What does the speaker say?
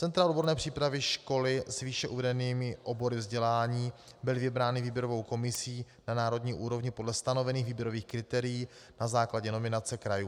Centra odborné přípravy - školy s výše uvedenými obory vzdělání byly vybrány výběrovou komisí na národní úrovni podle stanovených výběrových kritérií na základě nominace krajů.